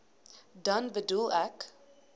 dan bedoel ek